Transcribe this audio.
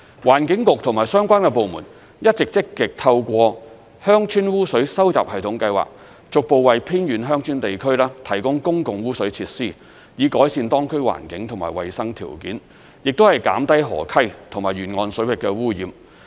環境局和相關部門一直積極透過鄉村污水收集系統計劃，逐步為偏遠鄉村地區提供公共污水設施，以改善當區環境和衞生條件，亦減低河溪及沿岸水域的污染。